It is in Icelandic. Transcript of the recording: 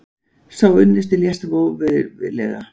Sá unnusti lést voveiflega.